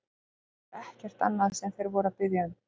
Því það var ekkert annað sem þeir voru að biðja hann um!